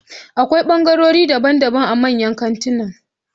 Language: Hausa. Akwai ɓangarorin daban daban a manyan kantinan